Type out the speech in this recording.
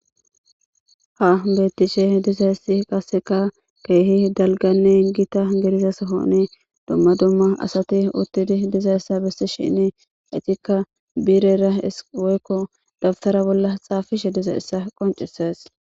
ha beettishe diza issi qasseka keehi dalganne gita soni dumma dumma asati uttidi diza essa bissi shini itikka biirera woykko dabtara bolla xaafishe diza issa qoncises